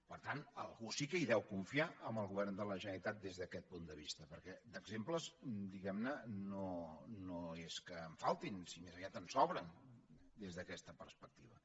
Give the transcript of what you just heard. per tant algú sí que hi deu confiar amb el govern de la generalitat des d’aquest punt de vista perquè d’exemples diguem ne no és que en faltin sinó més aviat en sobren des d’aquesta perspectiva